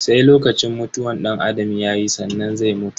Sai lokacin mutuwan danAdam yayi sannan zai mutu.